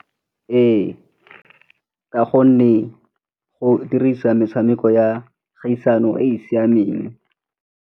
Ee, ka gonne go dirisa metshameko ya kgaisano e e siameng.